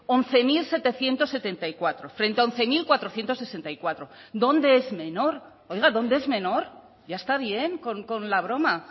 hamaika mila zazpiehun eta hirurogeita hamalau frente hamaika mila laurehun eta hirurogeita lau dónde es menor oiga dónde es menor ya está bien con la broma